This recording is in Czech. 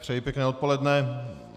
Přeji pěkné odpoledne.